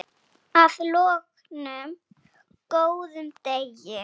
Að loknum góðum degi.